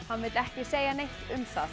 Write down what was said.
hann vill ekki segja neitt um það